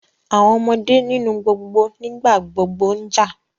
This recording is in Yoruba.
Àwọn ọmọdé nínú gbogbo nígbàgbogbo ń jà